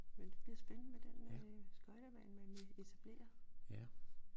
Men det bliver spændende med den skøjtebane man vil etablere